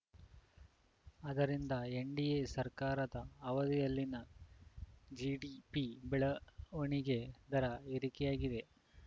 ಅದರಿಂದ ಎನ್‌ಡಿಎ ಸರ್ಕಾರದ ಅವಧಿಯಲ್ಲಿನ ಜಿಡಿಪಿ ಬೆಳ ವಣಿಗೆ ದರ ಏರಿಕೆಯಾಗಿದೆ